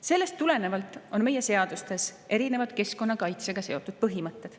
Sellest tulenevalt on meie seadustes erinevad keskkonnakaitsega seotud põhimõtted.